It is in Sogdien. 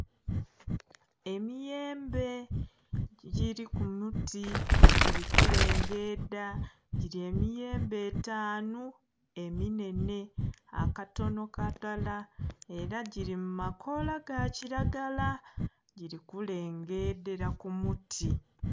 Emiyembe giri kuluti giri kulengedha giri emiyembe etanhu eminhenhe, akato kalala era giri mumakola gakiragala giri kulengedhera kumuti.